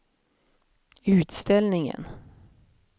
utställningen